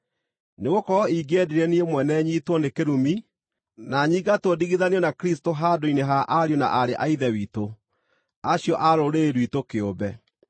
Nĩgũkorwo ingĩendire niĩ mwene nyiitwo nĩ kĩrũmi na nyingatwo ndigithanio na Kristũ handũ-inĩ ha ariũ na aarĩ a Ithe witũ acio a rũrĩrĩ rwitũ kĩũmbe,